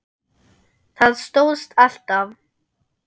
Það stóðst alltaf.